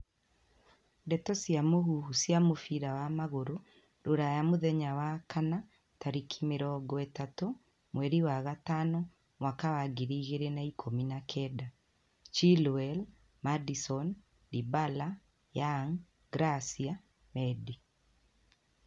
Ndeto cia mũhuhu cia mũbira wa magũrũ Rũraya mũthenya wa kana tarĩki mĩrongo ĩtatũ mweri wa gatano mwaka wa ngiri igĩrĩ na ikumi na kenda: Chilwell, Maddison, Dybala, Young, Gracia, Mendy